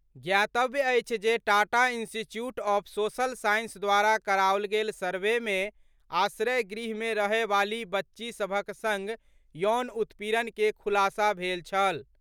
ज्ञातव्य अछि जे Tata institute of social science द्वारा कराओल गेल सर्वे मे आश्रय गृह मे रहयवाली बच्ची सभक संग यौन उत्पीड़न के खुलासा भेल छल।